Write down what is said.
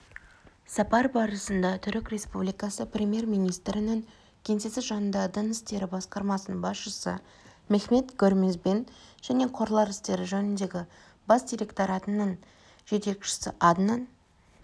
сапар барысында түрік республикасы премьер-министрінің кеңсесі жанындағы дін істері басқармасының басшысы мехмет гөрмезбен және қорлар істері жөніндегі бас директоратының жетекшісі аднан